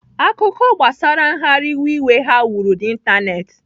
Akụkọ gbasara nghariwe iwe ha wuru n'Ịntanetị.